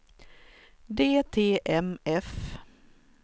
DTMF